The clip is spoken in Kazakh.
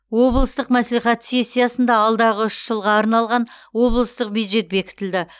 облыстық мәслихат сессиясында алдағы үш жылға арналған облыстық бюджет бекітілді